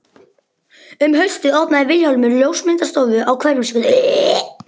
Um haustið opnaði Vilhjálmur ljósmyndastofu á Hverfisgötu.